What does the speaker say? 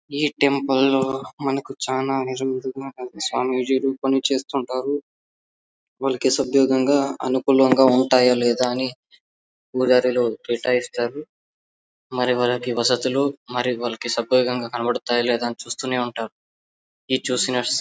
ఈ టెంపుల్ లో మనకు చాలా స్వామీజీలు పని చేస్తూ ఉంటారు. వాళ్లకి అనుకూలంగా ఉంటాయ లేదా అని పూజారిని కేటాయిస్తారు. మరి ఎవరికీ వసతులు మరి వాళ్లకు కనబడతాయా లేదా అని చూస్తూనే ఉంటారు . ఈ ]